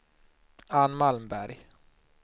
Anne Malmberg